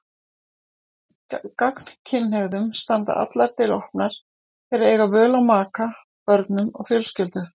Gagnkynhneigðum standa allar dyr opnar, þeir eiga völ á maka, börnum og fjölskyldu.